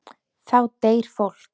Þá deyr fólk.